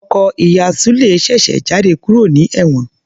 Ọkọ ìyá Sule ṣèṣe jáde kúrò ní ewon